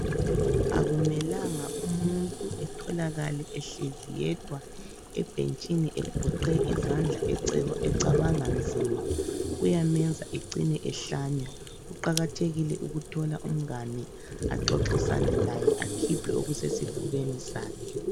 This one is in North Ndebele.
Akumelanga umuntu etholakale ehlezi yedwa ebhentshini egoqe izandla eceba ecabanga nzima. Kuyamenza ecine ehlanya. Kuqakathekile ukuthola umngane axoxisane laye akhiphe okusesifubeni sakhe.